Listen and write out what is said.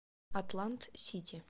атлант сити